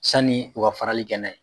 Sanni u ka farali kɛ na ye.